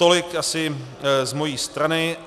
Tolik asi z mojí strany.